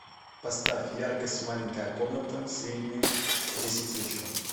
поставь яркость маленькая комната среднюю в десять вечера